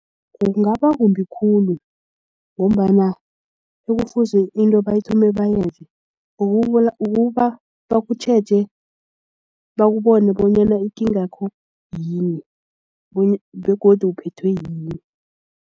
Kungaba kumbi khulu ngombana ekufuze into bayithome bayenze okubo bakutjheje bakubone bonyana ikingakho yini begodu uphethwe yini.